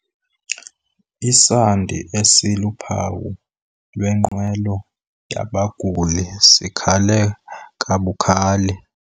Isandi esiluphawu lwenqwelo yabaguli sikhale kabukhali.